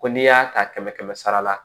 Ko n'i y'a ta kɛmɛ kɛmɛ sara la